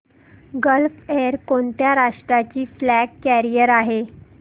gulf Air कोणत्या राष्ट्राची flag carrier आहे